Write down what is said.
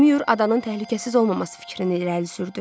Mayor adanın təhlükəsiz olmaması fikrini irəli sürdü.